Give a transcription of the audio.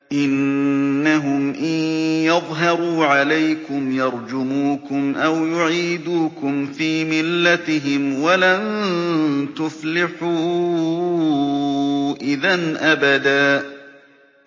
إِنَّهُمْ إِن يَظْهَرُوا عَلَيْكُمْ يَرْجُمُوكُمْ أَوْ يُعِيدُوكُمْ فِي مِلَّتِهِمْ وَلَن تُفْلِحُوا إِذًا أَبَدًا